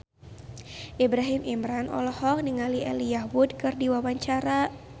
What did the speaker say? Ibrahim Imran olohok ningali Elijah Wood keur diwawancara